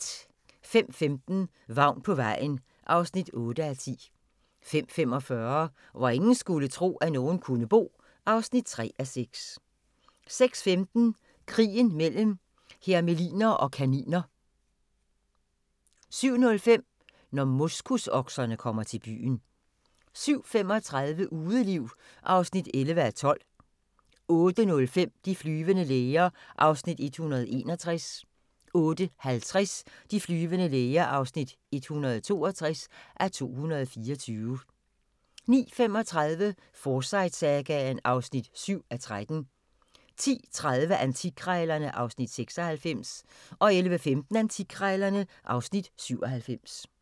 05:15: Vagn på vejen (8:10) 05:45: Hvor ingen skulle tro, at nogen kunne bo (3:6) 06:15: Krigen mellem hermeliner og kaniner 07:05: Når moskusokserne kommer til byen 07:35: Udeliv (11:12) 08:05: De flyvende læger (161:224) 08:50: De flyvende læger (162:224) 09:35: Forsyte-sagaen (7:13) 10:30: Antikkrejlerne (Afs. 96) 11:15: Antikkrejlerne (Afs. 97)